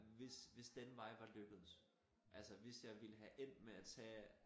Hvis hvis den vej var lykkedes altså hvis jeg ville have endt med at tage